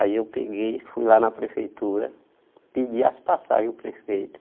Aí eu peguei, fui lá na prefeitura, pedi as passagens ao prefeito.